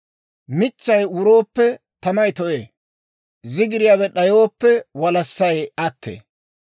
Mitsay wurooppe, tamay to'ee; zigiriyaawe d'ayooppe, walassay attee.